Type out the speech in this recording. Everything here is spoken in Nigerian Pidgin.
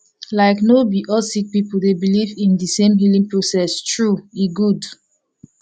like no bi all sik pipul dey biliv in di sem healing process tru e gud